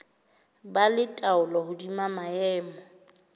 ba le taolo hodima maemo